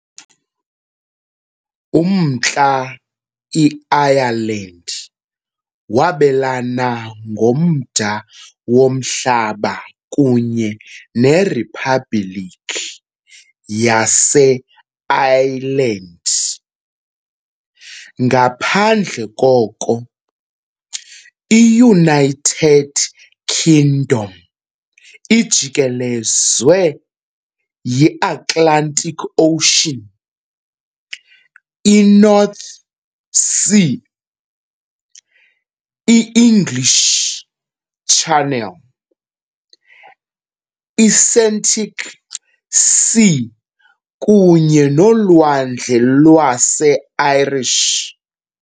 UMntla i-Ireland wabelana ngomda womhlaba kunye neRiphabhliki yaseIreland, ngaphandle koko, i-United Kingdom ijikelezwe yi-Atlantic Ocean, i -North Sea, i- English Channel, i- Celtic Sea kunye noLwandle lwase-Irish.